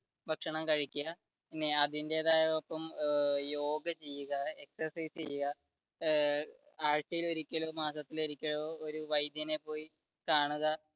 ഭക്ഷണം കഴിക്കുക, അതിന്റെ ഒപ്പം യോഗ ചെയ്യുക exercise ചെയ്യുക, ഏർ ആഴ്‌ചയിൽ ഒരിക്കലോ മാസത്തിൽ ഒരിക്കലോ ഒരു വൈദ്യനെ പോയി കാണുക.